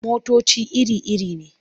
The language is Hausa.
Motoci iri-iri ne.